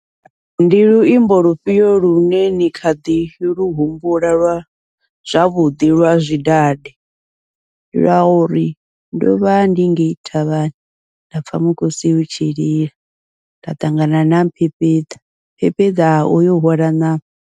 Ndi luimbo lufhio lune ni kha ḓi lu humbula lwa zwavhuḓi lwa zwidade, lwa uri ndovha ndi ngei thavhani nda pfha mukosi u tshi lila nda ṱangana na mbembeḓa mbembeḓa uyo hwala ṋama.